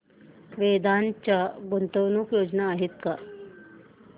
वेदांत च्या गुंतवणूक योजना आहेत का